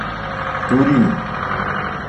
турин